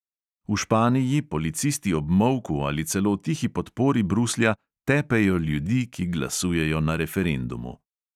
V španiji policisti ob molku ali celo tihi podpori bruslja tepejo ljudi, ki glasujejo na referendumu.